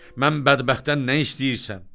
Mən bədbəxtdən nə istəyirsən?